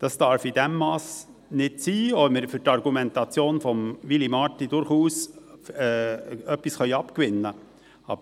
Das darf nicht sein, auch wenn wir der Argumentation von Willy Marti durchaus etwas abgewinnen können.